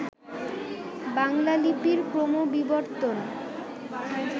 বাংলা লিপির ক্রমবিবর্তন